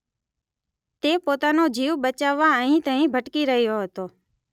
તે પોતાનો જીવ બચાવવા અહીં તહીં ભટકી રહ્યો હતો